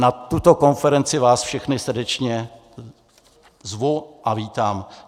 Na tuto konferenci vás všechny srdečně zvu a vítám.